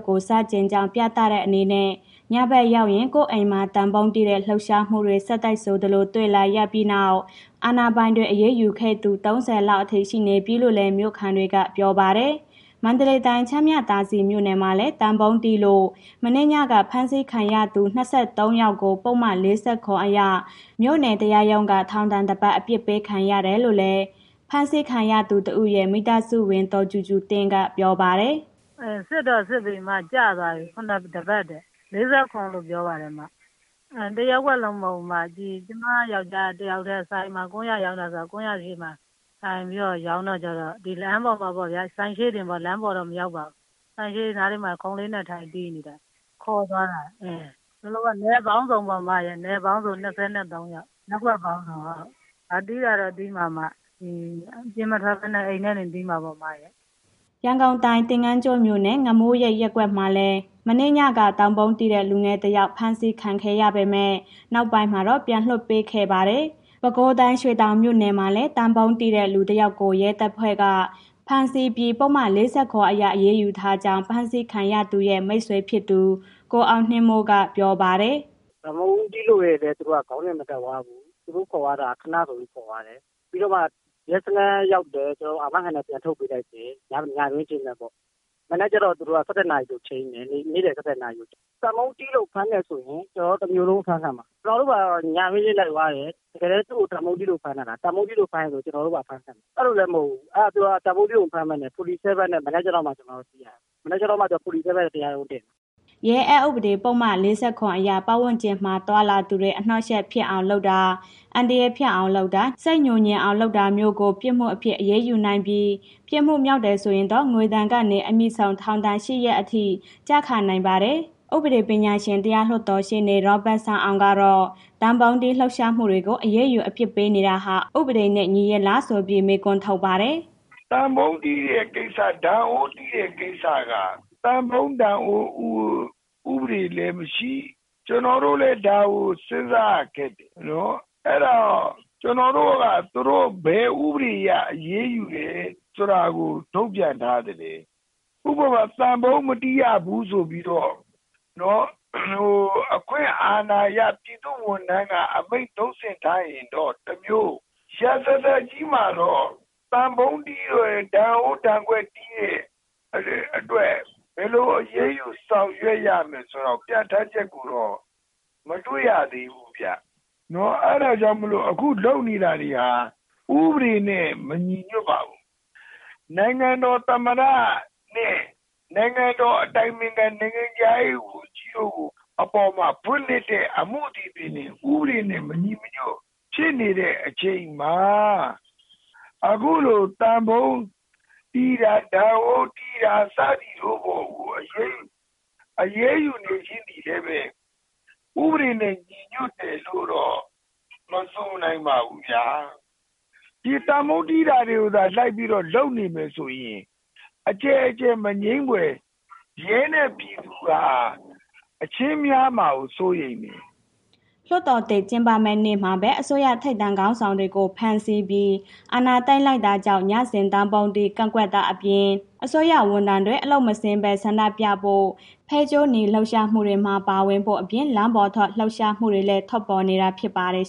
ကို ဆန့်ကျင်ကြောင်း ပြသတဲ့အနေနဲ့ ညဘက်ရောက်ရင် ကိုယ့်အိမ်မှာ သံပုံးတီးတဲ့ လှုပ်ရှားမှုတွေ ဆက်တိုက်ဆိုသလို တွေ့လာရပြီးနောက် အာဏာပိုင်တွေက အရေးယူခဲ့တဲ့သူ ၃၀ လောက်အထိ ရှိနေပြီလို့လည်း မြို့ခံတွေက ပြောပါတယ်။ မန္တလေးတိုင်း၊ ချမ်းမြသာစည်မြို့နယ်မှာလည်း သံပုံးတီးလို့ မနေ့ညက ဖမ်းဆီးခံခဲ့ရသူ ၂၃ ယောက်ကို ပုဒ်မ ၄၇ အရ မြို့နယ်တရားရုံးက ထောင်ဒဏ် တစ်ပတ် အပြစ်ပေးခံခဲ့ရတယ်လို့လည်း ဖမ်းဆီးခံရသူတဦးရဲ့ မိသားစုဝင် ဒေါ်ကြူကြူသင်းက ပြောပါတယ်။ “စစ်တော့ စစ်ပြီးပြီ၊ ကျသွားပြီ။ တစ်ပတ်တဲ့ ၄၇ လို့ ပြောပါတယ်။ တစ်ရပ်ကွက်လုံး မဟုတ်ဘူး။ ကျမ ယောကျာ်းက ဆိုင်မှာ ကွမ်းယာရောင်းတာ ဆိုတော့ ကွမ်းယာဈေးမှာ ထိုင်ပြီးတော့ ရောင်းတာကျတော့ ဒီလမ်းပေါ်ဆိုင်ရှေ့ပေါ့၊ လမ်းပေါ်တော့ မရောက်ပါဘူး။ ဆိုင်ရှေ့နားလေးမှာ ခုံးလေးနဲ့ ထိုင်တီးနေတာ... ခေါ်သွားတာ။ ရပ်ကွက်ပေါင်းစုံ ၂၃ ယောက်။ တီးတာတော့ တီးရမှာပဲ၊ အပြင်မထွက်ဘဲနဲ့ အိမ်ကနေ တီးမှာပေါ့။” ရန်ကုန်တိုင်း သင်္ယန်းကျွန်းမြို့နယ် ငမိုးရိပ်ရပ်ကွက်မှာလည်း မနေ့ညက သံပုံးတီးတဲ့ လူငယ်တစ်ယောက် ဖမ်းဆီးခံခဲ့ရပေမဲ့ နောက်ပိုင်းမှာတော့ ပြန်လွှတ်ပေးခဲ့ပါတယ်။ ပဲခူးတိုင်း ရွှေတောင်မြို့နယ်မှာလည်း သံပုံးတီးတဲ့ လူတစ်ေယောက်ကို ရဲတပ်ဖွဲ့က ဖမ်းဆီးပြီး ပုဒ်မ ၄၇ နဲ့ အရေးယူထားကြောင်း ဖမ်းဆီးခံရသူရဲ့ မိတ်ဆွေဖြစ်သူ ကိုအောင်နှင်းမိုးက ပြောပါတယ်။ “သံပုံးတီးလို့ရယ်လို့ သူတို့ခေါင်းစဉ်မတတ်သွားဘူး။ သူတို့ခေါ်သွားတာ ခဏဆိုပြီး ခေါ်သွားတယ်။ ပြီးတော့မှ ရဲစခန်းရောက်တယ်။ အာမခံနဲ့ ပြန်ထုတ်ပေးလိုက်တယ်။ ညတွင်းချင်းပဲပေါ့။ မနက်ကျတော့ သူတို့က ၁၁ နာရီဆိုပြီး ချိန်းတယ်။ နေ့လယ် ၁၁ နာရီ။ သံပုံးတီးလို့ ဖမ်းတယ်ဆိုရင် ကျနော်တို့ တစ်မြို့လုံး အဖမ်းခံမှာ။ ကျနော်တို့ ညတွင်းချင်းလိုက်သွားတယ်။ တကယ်တန်း သူ့ကို သံပုံးတီးလို့ ဖမ်းတာလား။ သံပုံးတီးလို့ ဖမ်းတယ်ဆိုရင် ကျနော်တို့ပါ အဖမ်းခံမယ်။ အဲ့ဒီလိုလည်း မဟုတ်ဘူး။ သူတို့က သံပုံးတီးလို့ မဖမ်းဘဲနဲ့ ၄၇ နဲ့ မနက်ကျမှ ကျနော်တို့ သိရတယ်။ မနက်ကျမှ ၄၇ နဲ့ တရားရုံးတင်တာ။” ရဲအက်ဥပဒေပုဒ်မ ၄၇ အရ ပတ်ဝန်းကျင်မှာ သွားလာသူတွေ အနှောင့်အယှက်ဖြစ်အောင်လုပ်တာ၊ အန္တရာယ်ဖြစ်အောင်လုပ်တာ၊ စိတ်ငြိုငြင်အောင် လုပ်တာမျိုးကို ပြစ်မှုအဖြစ် အရေးယူနိုင်ပြီး ပြစ်မှုမြောက်တယ်ဆိုရင်တော့ ငွေဒဏ်ကနေ အမြင့်ဆုံး ထောင်ဒဏ် ၈ ရက်အထိ ကျခံရနိုင်ပါတယ်။ ဥပဒေပညာရှင်၊ တရားလွှတ်တော်ရှေ့နေ ဦးရောဘတ်စန်းအောင်ကတော့ သံပုံးတီးလှုပ်ရှားသူတွေကို အရေးယူအပြစ်ပေးနေတာဟာ ဥပဒေနဲ့ ညီရဲ့လားဆိုပြီး မေးခွန်းထုတ်ပါတယ်။ “သံပုံးတီးတဲ့ ကိစ္စ ဒန်အိုးတီးတဲ့ ကိစ္စက သံပုံး၊ ဒန်အိုး၊ ဥပဒေလည်းမရှိဘူး။ ကျနော်တို့လည်း ဒါကို စဉ်းစားရခက်တယ်နော်။ အဲ့ဒါ ကျနော်တို့က သူတို့ဘယ်ဥပဒေနဲ့ အရေးယူလည်းဆိုတာကို ထုတ်ပြန်သလဲ။ ဥပမာ သံပုံးမတီးရဘူးဆိုပြီးတော့... အခွင့်အာဏာအရ ပြည်သူ့ဝန်ထမ်းက အမိန့်ထုတ်စဉ်ထားရင်တော့ တစ်မျိုး။ ရာဇာသတ်ကြီးမှာတော့ သံပုံးတီးတို့ ဒန်အိုး၊ ဒန်ခွက်တီးတဲ့အတွက် ဘယ်လိုအရေးယူဆောင်ရွက်ရမလဲဆိုတာကို ပြဋ္ဌာန်းချက်ကိုတော့ မတွေ့ရသေးပါဘူးဗျနော်။ အဲ့ဒါကြောင့်မို့လို့ အခုလုပ်နေတာတွေဟာ ဥပဒေနဲ့ မညီညွှတ်ပါဘူး။ နိုင်ငံတော်သမ္မတနဲ့ နိုင်ငံတော်အတိုင်ပင်ခံ၊ နိုင်ငံခြားရေးဝန်ကြီးတို့ အပေါ်မှာ ဖွင့်လှစ်တဲ့ အမှုတွေသည်.... ဥပဒေနဲ့မညီညွှတ်ဖြစ်နေတဲ့ အချိန်မှာ အခုလို သံပုံးတီးတာ၊ ဒန်အိုးတီးတာစသည်တို့ကို အရေးယူနေရှိသည်လည်းပဲ ဥပဒေနဲ့ ညီညွှတ်တယ်လို့ မဆိုနိုင်ပါဘူးဗျာ။ ဒီသံပုံးတီးတာကို လိုက်ပြီးတော့ လုပ်နေမယ်ဆိုရင် အကျယ်ကျယ်မငြင်းဖွယ် ရဲနဲ့ ပြည်သူက အချင်းများမှာကို စိုးရိမ်နေတယ်။” လွှတ်တော်သစ် ကျင်းပမယ့်နေ့မှာပဲ အစိုးရထိပ်တန်းခေါင်းဆောင်တွေကို ဖမ်းဆီးပြီး အာဏာသိမ်းလိုက်တာကြောင့် ညစဉ် သံပုံးတီး ကန့်ကွက်တာအပြင်၊ အစိုးရဝန်ထမ်းတွေ အလုပ်မဆင်းဘဲ ဆန္ဒပြဖို့၊ ဖဲကြိုးနီလှုပ်ရှားမှုတွေမှာ ပါဝင်ဖို့အပြင် လမ်းပေါ်ထွက် လှုပ်ရှားမှုတွေလည်း ထွက်ပေါ်နေတာ ဖြစ်ပါတယ်